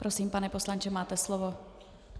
Prosím, pane poslanče, máte slovo.